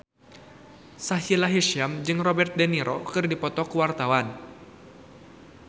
Sahila Hisyam jeung Robert de Niro keur dipoto ku wartawan